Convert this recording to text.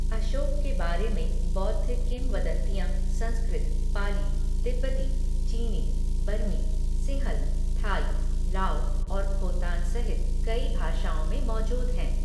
अशोक के बारे में बौद्ध किंवदंतियाँ संस्कृत, पाली, तिब्बती, चीनी, बर्मी, सिंहल, थाई, लाओ और खोतान सहित कई भाषाओं में मौजूद हैं।